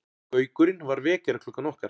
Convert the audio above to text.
Gaukurinn var vekjaraklukkan okkar.